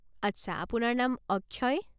আচ্ছা, আপোনাৰ নাম অক্ষয়।